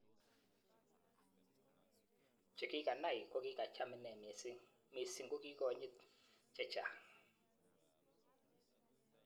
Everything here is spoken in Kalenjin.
Chekikanai kokicham ine mising, mising kokikonyit che chang.